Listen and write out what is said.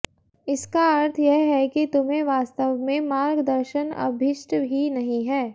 इसका अर्थ यह है कि तुम्हें वास्तव में मार्गदर्शन अभीष्ट ही नहीं है